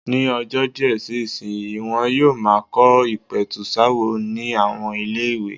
Ní ọjọ́ díẹ̀ sí ìsìnyí, wọn yóò máa kọ́ ìpẹ̀tùsááwọ̀ ní àwọn ilé-ìwé.